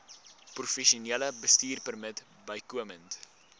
professionele bestuurpermit bykomend